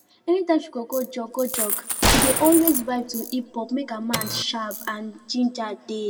anytime she go jog go jog she dey always vibe to hiphop make her mind sharp and make ginger dey